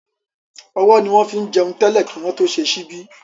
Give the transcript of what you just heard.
Ọwọ́ ni wọ́n fín jẹun tẹ́lẹ̀ kí wọ́n tó ṣe ṣíbí